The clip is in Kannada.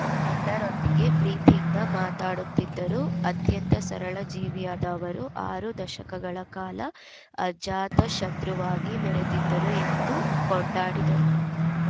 ಎಲ್ಲರೊಂದಿಗೆ ಪ್ರೀತಿಯಿಂದ ಮಾತಾಡುತ್ತಿದ್ದರು ಅತ್ಯಂತ ಸರಳ ಜೀವಿಯಾದ ಅವರು ಆರು ದಶಕಗಳ ಕಾಲ ಅಜಾತಶತ್ರುವಾಗಿ ಮೆರೆದಿದ್ದರು ಎಂದು ಕೊಂಡಾಡಿದರು